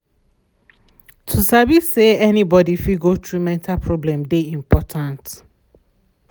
to sabi say any body fit go through mental problem de important.